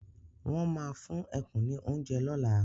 Won máa fún ẹkùn ní oúnjẹ lola